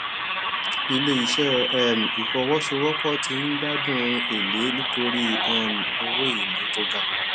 ilé iṣẹ um ìfowópamọ ti ń gbádùn èlé nítorí um owó èlé tó ga